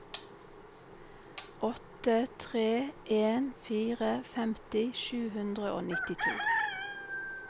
åtte tre en fire femti sju hundre og nittito